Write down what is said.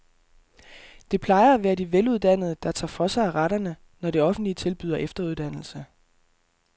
Det plejer at være de veluddannede, der tager for sig af retterne, når det offentlige tilbyder efteruddannelse.